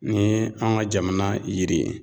Ni ye an ga jamana yiri ye